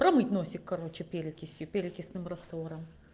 промыть носик короче перекисью перекисным раствором